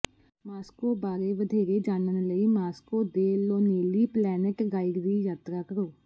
Moscow ਬਾਰੇ ਵਧੇਰੇ ਜਾਣਨ ਲਈ ਮਾਸਕੋ ਦੇ ਲੋਨੇਲੀ ਪਲੈਨਟ ਗਾਈਡ ਦੀ ਯਾਤਰਾ ਕਰੋ